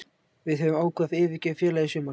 Við höfum ákveðið að yfirgefa félagið í sumar.